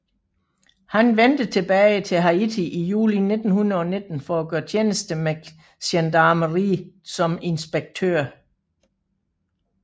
Han vendte tilbage til Haiti i juli 1919 for at gøre tjeneste med gendarmeriet som inspektør